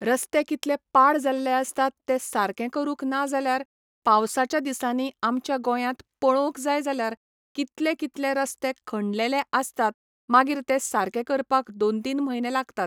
रस्ते कितले पाड जाल्ले आसतात ते सारके करूंक नाजाल्यार पावसाच्या दिसांनी आमच्या गोंयांत पळोवंक जाय जाल्यार, कितले कितले रस्ते खणलेले आसतात मागीर ते सारके करपाक दोन तीन म्हयने लागतात.